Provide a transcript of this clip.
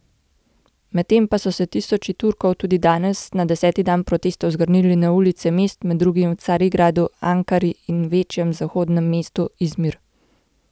Medtem pa so se tisoči Turkov tudi danes, na deseti dan protestov, zgrnili na ulice mest, med drugim v Carigradu, Ankari in v večjem zahodnem mestu Izmir.